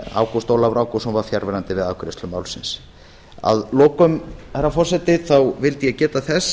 ágúst ólafur ágústsson var fjarverandi við afgreiðslu málsins að lokum herra forseti vildi ég geta þess